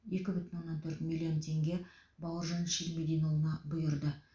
екі бүтін оннан төрт миллион теңге бауыржан ширмединұлына бұйырды